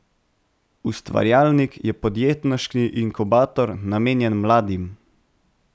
Ustvarjalnik je podjetniški inkubator, namenjen mladim.